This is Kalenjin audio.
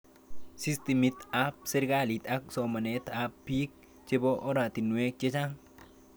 Systemit ab serikalit ak somanet ab piik chepo oratinwek chechang'